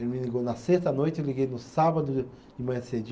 Ele me ligou na sexta à noite, eu liguei no sábado de de manhã cedinho.